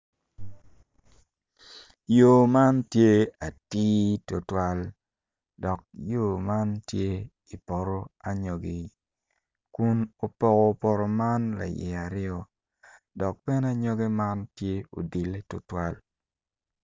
Yo man tye atir tutwal dok yo man tye i poto anyogi kun opoko poto man layie aryo dok bene anyogi man tye ma odile tutwal.